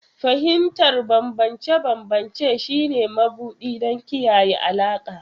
Fahimtar bambance-bambance shine mabuɗi don kiyaye alaƙa.